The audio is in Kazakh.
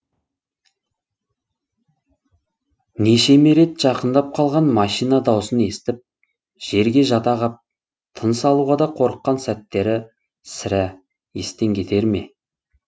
нешеме рет жақындап қалған машина даусын естіп жерге жата қап тыныс алуға да қорыққан сәттері сірә естен кетер ме